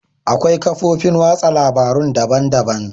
Akwai kafofin watsa labarun daban-daban.